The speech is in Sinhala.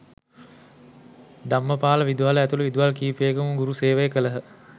ධම්මපාල විදුහල ඇතුළු විදුහල් කිහිපයකම ගුරු සේවය කළහ